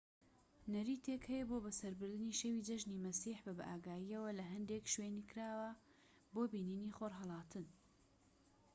نەریتێک هەیە بۆ بەسەربردنی شەوی جەژنی مەسیح بە بائاگاییەوە لە هەندێک شوێنی کراوە بۆ بینینی خۆرهەڵاتن